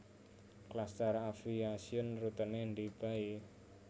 Klastar Aviation rutene ndi bae